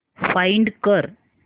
find कर